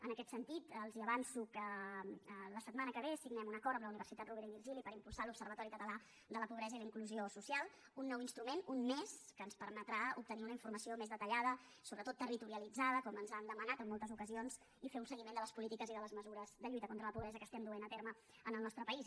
en aquest sentit els avanço que la setmana que ve signem un acord amb la universitat rovira i virgili per impulsar l’observatori català de la pobresa i la inclusió social un nou instrument un més que ens permetrà obtenir una informació més detallada sobretot territorialitzada com ens han demanat en moltes ocasions i fer un seguiment de les polítiques i de les mesures de lluita contra la pobresa que duem a terme en el nostre país